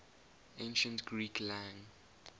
ancient greek lang